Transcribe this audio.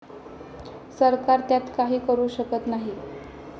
सरकार त्यात काही करू शकत नाही.